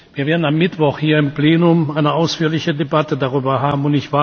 Wir werden am Mittwoch hier im Plenum eine ausführliche Debatte darüber haben.